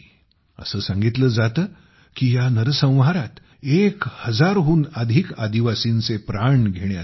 असे सांगितले जाते की या नरसंहारात एक हजारहून अधिक आदिवासींचे प्राण घेण्यात आले